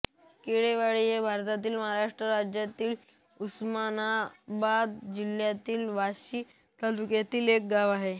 केळेवाडी हे भारताच्या महाराष्ट्र राज्यातील उस्मानाबाद जिल्ह्यातील वाशी तालुक्यातील एक गाव आहे